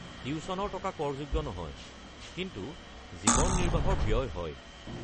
টিউশ্যনৰ টকা কৰযোগ্য নহয়, কিন্তু জীৱন নিৰ্বাহৰ ব্যয় হয়।